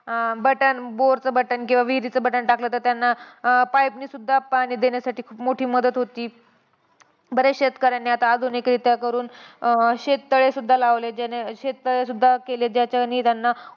अं button bore चं button किंवा विहिरीचं button टाकलं तर त्यांना pipe नी सुद्धा पाणी देण्यासाठी खूप मोठी मदत होती. बरेच शेतकऱ्यांनी आता आधुनिकरित्या करून अं शेततळे सुद्धा लावलेत. ज्यांनी शेततळे सुद्धा केलेत. ज्याच्यानी त्यांना